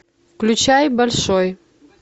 включай большой